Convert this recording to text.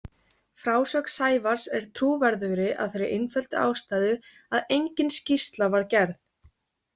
Frásögn Sævars er trúverðugri af þeirri einföldu ástæðu að engin skýrsla var gerð.